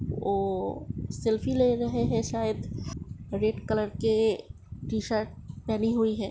वो सेल्फी ले रहे है शायद रेड कलर के टीशर्ट पहनी हुई है|